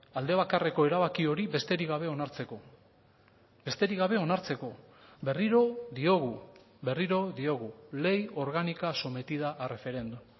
alde bakarreko erabaki hori besterik gabe onartzeko besterik gabe onartzeko berriro diogu berriro diogu ley orgánica sometida a referéndum